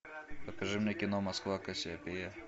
покажи мне кино москва кассиопея